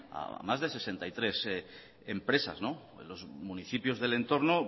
a más de sesenta y tres empresas los municipios del entorno